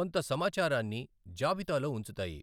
కొంత సమాచారాన్ని జాబితాలో ఉంచుతాయి.